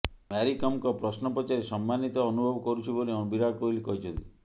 ମ୍ୟାରିକମ୍ଙ୍କ ପ୍ରଶ୍ନ ପଚାରି ସମ୍ମାନୀତ ଅନୁଭବ କରୁଛି ବୋଲି ବିରାଟ କୋହଲି କହିଛନ୍ତି